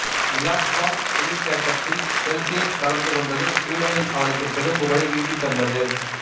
இலாப்லாந்து புவித்தேட்ட்த்தில் செல்சியசு கலந்துக் கொண்டது சுவீடனில் அவருக்குப் பெரும்புகழை ஈட்டித் தந்த்து